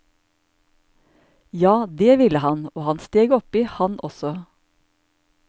Ja, det ville han, og han steg oppi, han også.